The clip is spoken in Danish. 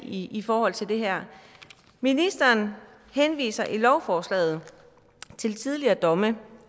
i forhold til det her ministeren henviser i lovforslaget til tidligere domme